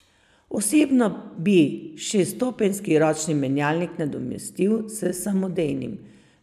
Osebno bi šeststopenjski ročni menjalnik nadomestil s samodejnim.